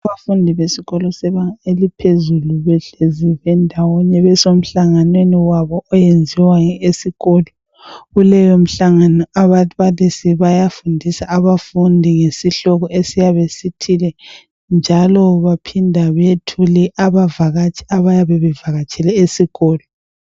Abafundi besikolo sebanga eliphezulu behlezi bendawonye besemhlanganweni wabo iyenziwa esikolo. Kuleyomhlangano ababalisi bayafundisa abafundi ngesihloko esiyabe sithole njalo baphinde bethule abavakatshi abayabe bevakatshele esikolo.